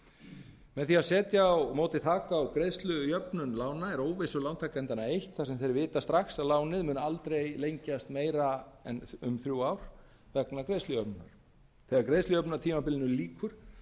prósent með því að setja á móti þak á greiðslujöfnun lána er óvissu lántakendanna eytt þar sem þeir vita strax að lánið mun aldrei lengjast meira en um þrjú ár vegna greiðslujöfnunar þegar greiðslujöfnunartímabilinu lýkur